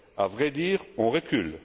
À vrai dire, on recule.